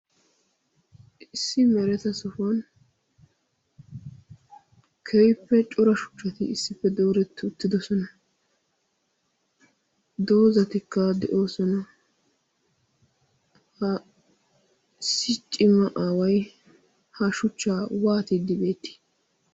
Issi mereta sohuwan keehippe coraa shuchchaati issippe dooreti uttidosona. Doozatikka de'oosona. Ha issi cimma aaway ha shuchchaa waattiddi beetti?